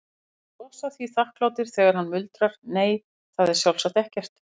Þeir brosa því þakklátir þegar hann muldrar, nei, það er sjálfsagt ekkert.